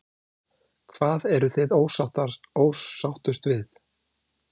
Lóa: Hvað eruð þið ósáttust við?